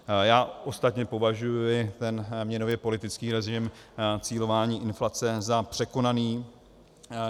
Já ostatně považuji ten měnově politický režim cílování inflace za překonaný.